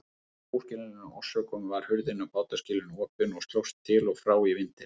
Af óskiljanlegum orsökum var hurðin á bátaskýlinu opin og slóst til og frá í vindinum.